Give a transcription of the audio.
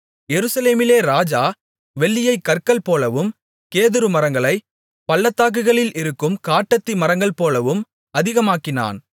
எருசலேமிலே ராஜா வெள்ளியைக் கற்கள்போலவும் கேதுருமரங்களைப் பள்ளத்தாக்குகளில் இருக்கும் காட்டத்தி மரங்கள்போலவும் அதிகமாக்கினான்